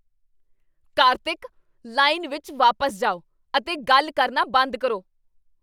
Kartik! Line ਵਿੱਚ ਵਾਪਸ ਜਾਓ ਅਤੇ ਗੱਲ ਕਰਨਾ ਬੰਦ ਕਰੋ।